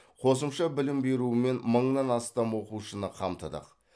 қосымша білім берумен мыңнан астам оқушыны қамтыдық